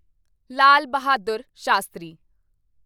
ਲਾਲ Bahadur ਸ਼ਾਸਤਰੀ